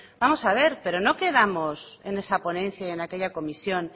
vamos a ver pero no quedamos en esa ponencia y en aquella comisión